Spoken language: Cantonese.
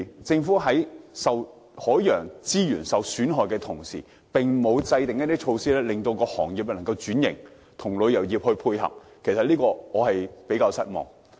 政府在損害海洋資源的同時，並沒有制訂措施幫助行業轉型，與旅遊業配合，我對此相當失望。